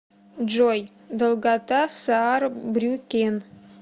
джой долгота саарбрюккен